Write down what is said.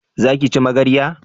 Za ki ci magarya?